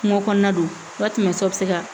Kungo kɔnɔna don ka tɛmɛ so bɛ se ka